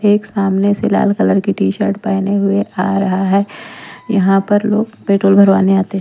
एक सामने से लाल कलर की टी-शर्ट पहने हुए आ रहा है यहाँ पर लोग पेट्रोल भरवाने आते हैं।